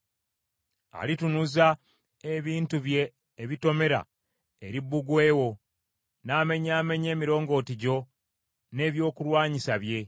Alitunuza ebintu bye ebitomera eri bbugwe wo, n’amenyaamenya emirongooti gyo n’ebyokulwanyisa bye.